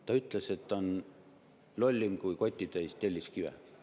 Ta ütles, et ta on lollim kui kotitäis telliskive.